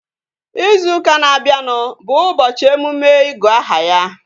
Izu ụka na-abịanụ bụ ụbọchị emume igu aha ya